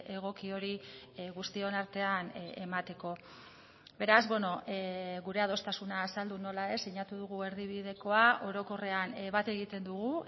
egoki hori guztion artean emateko beraz gure adostasuna azaldu nola ez sinatu dugu erdibidekoa orokorrean bat egiten dugu